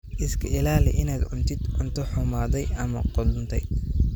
Iska ilaali inaad cuntid cunto xumaaday ama qudhuntay.